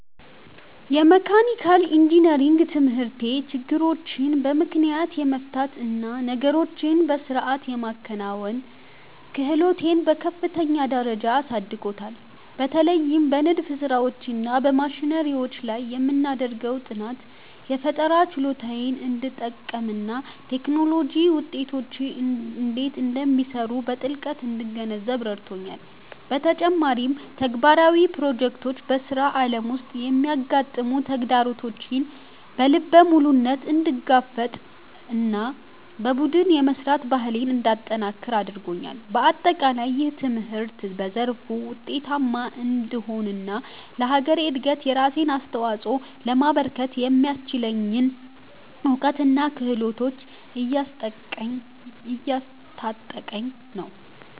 የመካኒካል ኢንጂነሪንግ ትምህርቴ ችግሮችን በምክንያት የመፍታት እና ነገሮችን በሥርዓት የማከናወን ክህሎቴን በከፍተኛ ደረጃ አሳድጎታል። በተለይም በንድፍ ሥራዎች እና በማሽነሪዎች ላይ የምናደርገው ጥናት፣ የፈጠራ ችሎታዬን እንድጠቀምና የቴክኖሎጂ ውጤቶች እንዴት እንደሚሰሩ በጥልቀት እንድገነዘብ ረድቶኛል። በተጨማሪም፣ ተግባራዊ ፕሮጀክቶች በሥራ ዓለም ውስጥ የሚያጋጥሙ ተግዳሮቶችን በልበ ሙሉነት እንድጋፈጥና በቡድን የመሥራት ባህሌን እንዳጠነክር አድርገውኛል። በአጠቃላይ፣ ይህ ትምህርት በዘርፉ ውጤታማ እንድሆንና ለሀገሬ እድገት የራሴን አስተዋፅኦ ለማበርከት የሚያስችለኝን እውቀትና ክህሎት እያስታጠቀኝ ነው።